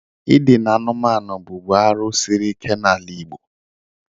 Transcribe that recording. I dịna anụmanụ bụbu arụ sịrị ike n'ala Igbo.